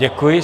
Děkuji.